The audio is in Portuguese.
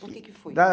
Por que que foi?